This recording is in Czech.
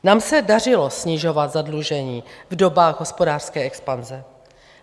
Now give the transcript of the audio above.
Nám se dařilo snižovat zadlužení v dobách hospodářské expanze.